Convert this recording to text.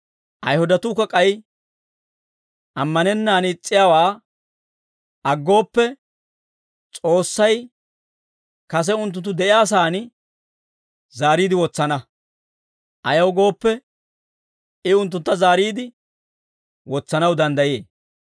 Ayihudatuukka k'ay ammanennaan is's'iyaawaa aggooppe, S'oossay kase unttunttu de'iyaa saan zaariide wotsana; ayaw gooppe, I unttuntta zaariide wotsanaw danddayee.